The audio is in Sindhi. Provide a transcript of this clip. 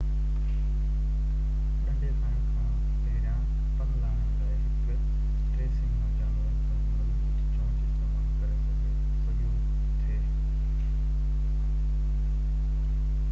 ڏنڍي کائڻ کان پهريان پن لاهڻ لاءَ هڪ ٽي سينگهو جانور پنهنجي مضبوط چونچ استعمال ڪري سگهيو ٿي